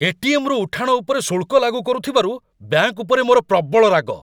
ATM. ରୁ ଉଠାଣ ଉପରେ ଶୁଳ୍କ ଲାଗୁ କରୁଥିବାରୁ ବ୍ୟାଙ୍କ ଉପରେ ମୋର ପ୍ରବଳ ରାଗ।